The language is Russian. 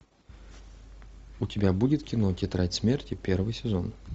у тебя будет кино тетрадь смерти первый сезон